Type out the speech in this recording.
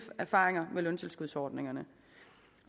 erfaringer med løntilskudsordningerne